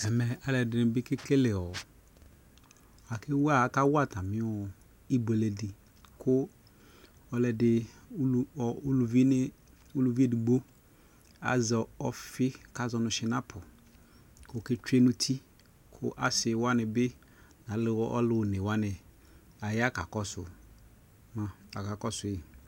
Ɛmɛ alʋɔdini kekele ɔ akaawa atami ibuele di ulʋvi edigbo azɛ ɔfi kazɔ nʋ tsinapu kʋ oketsue nʋ uti kʋ asiwani bi ɛlʋ alʋ onewani aya kakɔsu kakɔsu